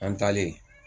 An taalen